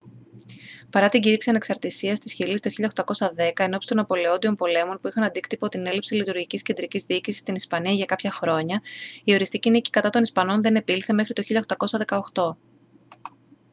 παρά την κήρυξη ανεξαρτήσίας της χιλής το 1810 ενόψει των ναπολεόντιων πολέμων που είχαν αντίκτυπο την έλλειψη λειτουργικής κεντρικής διοίκησης στην ισπανία για κάποια χρόνια η οριστική νίκη κατά των ισπανών δεν επήλθε μέχρι το 1818